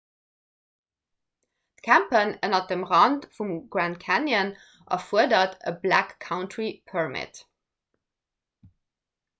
d'campen ënner dem rand vum grand canyon erfuerdert e 'backcountry permit'